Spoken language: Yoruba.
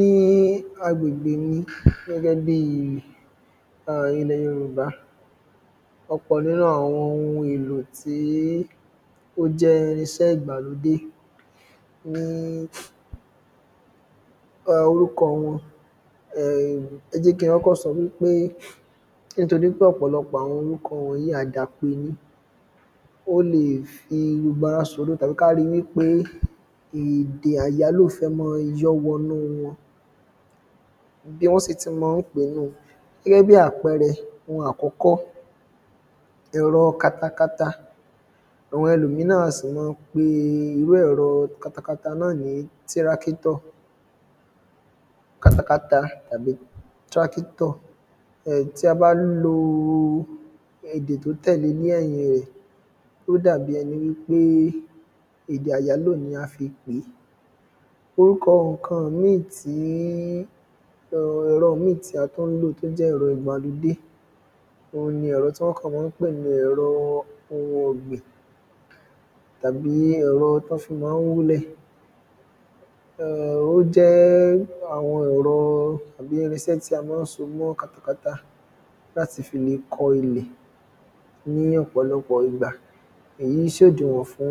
ní agbègbè mi gẹ́gẹ́ bí ilẹ̀ yorùbá ọ̀pọ̀ nínú àwọn ohun èlò tí ó jẹ́ irinṣẹ́ ìgbàlódé ni orúkọ wọn ẹ jẹ́ kí n kọ́kọ́ sọ wípé nítorí ọ̀pọ̀lọpọ̀ àwọn orúkọ wọ̀nyí àdàpè ni ó lè fi gbogbo ara ṣòro tàbí ká ri wípé èdè àyálò fẹ́ máa yọ́ wọnú wọn bí wọ́n sì ti mọ ń pèé nùú gẹ́gẹ́ bí àpẹẹrẹ ohun àkọ́kọ́ ẹ̀rọ katakata àwọn ẹlòmíràn sì lè máa pe irú ẹ̀rọ katakata náà ní ẹ̀rọ tirákítọ̀ katakata tàbí tírákítọ̀ tí a bá lo èdè tó tẹ̀le ní ẹ̀yìn rẹ̀ ó dàbí ẹni wípé èdè àyálò ni a fi pèé orúkọ ǹkan míì tí ẹ̀rọ míì tí a tún ń lò tó jẹ́ ẹ̀rọ ìgbàlódé òhun ni ẹ̀rọ tí wọ́n kàn mọ ń pè ní ẹ̀rọ ohun ọ̀gbìn tàbí ẹ̀rọ tí wọ́n fi máa ń wúlẹ̀ ó jẹ́ àwọn ẹ̀rọ tàbí irinṣẹ́ tí a máa ń so mọ́ katakata láti fi le kọ ilẹ̀ ní ọ̀pọ̀lọpọ̀ ìgbà èyí sòdinwọ̀n fún